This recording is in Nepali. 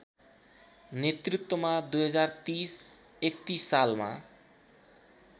नेतृत्वमा २०३० ३१ सालमा